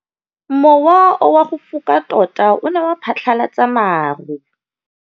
Mowa o wa go foka tota o ne wa phatlalatsa maru.